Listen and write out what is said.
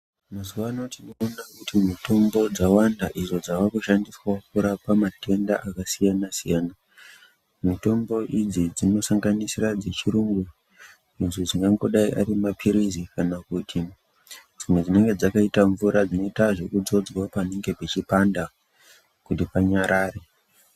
Mazuva ano tinoona kuti mitombo dzawanda idzo dzavakushandiswavo kurapa matenda akasiyana-siyana. Mitombo idzi dzinosanganisira dzechirungu idzo dzingangodai ari maphirizi kana kuti dzimwe dzinenge dzakaita mvura, dzinoita zvekudzodzwa panenge pechipanda kuti panyarare.